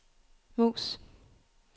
mus